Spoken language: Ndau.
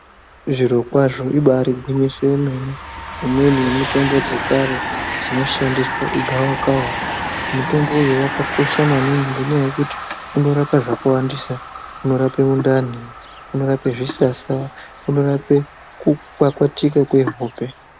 Zvirokwazvo ibari gwinyiso yemene, imweni yemitombo dzekare dzinoshandiswa igavakava. Mutombo uyu wakakosha maningi ngenyaa yekuti unorapa zvakawandisa. Unorape mundani, unorape zvisasa, unorape kukwakwatika kwehope.